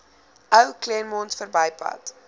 ou claremont verbypad